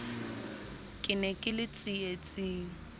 ke ne ke le tsietsing